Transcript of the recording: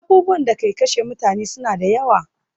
Abubuwan da ke kashe mutane suna da yawa